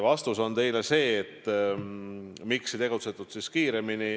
Vastus teile selle kohta, miks ei tegutsetud kiiremini.